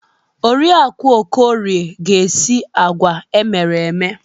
Oriakụ Okorie ga-esi agwa emere eme.